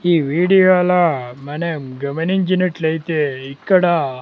ఈ వీడియోలో మనం గమనించినట్లయితే ఇక్కడ.